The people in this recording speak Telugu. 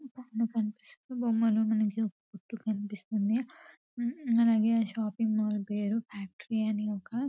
ఇక్కడ కనిపిస్తున్న బొమ్మలో మనకొక కొట్టు కనిపిస్తుంది. అలాగే ఆ షాపింగ్ మాల్ పేరు ఫ్యాక్టరీ అని ఒక--